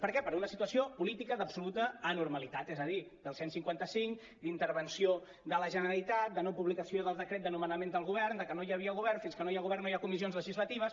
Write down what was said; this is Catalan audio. per què per una situació política d’absoluta anormalitat és a dir del cent i cinquanta cinc d’intervenció de la generalitat de no publicació del decret de nomenament del govern de que no hi ha·via govern fins que no hi ha govern no hi ha comissions legislatives